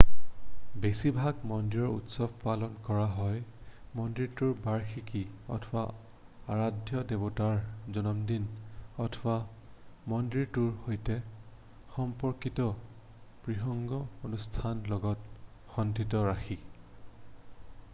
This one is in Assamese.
বেছিভাগ মন্দিৰৰ উৎসৱ পালন কৰা হয় মন্দিৰটোৰ বাৰ্ষিকী অথবা আৰাধ্য দেৱতাৰ জন্মদিন অথবা মন্দিৰটোৰ সৈতে সম্পৰ্কিত বৃহৎ অনুষ্ঠানৰ লগত সঙ্গতি ৰাখি